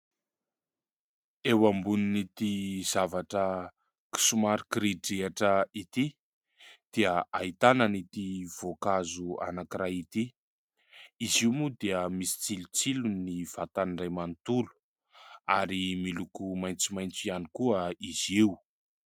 Eo ambonin'ity zavatra somary kiridrihitra ity dia ahitana ity voankazo anankiray ity, izy io moa dia misy tsilotsilo ny vatany iray manontolo ary miloko maitsomaitso ihany koa izy io.